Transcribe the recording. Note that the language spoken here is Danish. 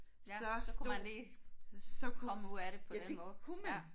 Ja så kunne man lige komme ud af det på den måde ja